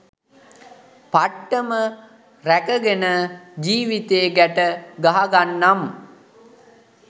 පට්ටම රැකගෙන ජිවිතේ ගැට ගහගන්නනම්